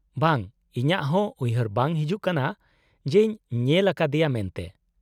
-ᱵᱟᱝ, ᱤᱧᱟᱹᱜ ᱦᱚᱸ ᱩᱭᱦᱟᱹᱨ ᱵᱟᱝ ᱦᱤᱡᱩᱜ ᱠᱟᱱᱟ ᱡᱮᱧ ᱧᱮᱞ ᱟᱠᱟᱫᱮᱭᱟ ᱢᱮᱱᱛᱮ ᱾